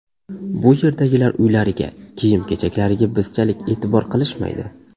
Bu yerdagilar uylariga, kiyim-kechaklariga bizchalik e’tibor qilishmaydi.